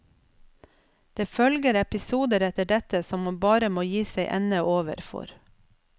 Det følger episoder etter dette som man bare må gi seg ende over for.